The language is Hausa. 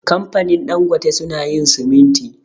Kamfanin Dangote su na yin siminti